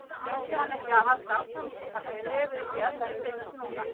En vildi hann ekki halda áfram og taka skrefið upp í efstu deild núna?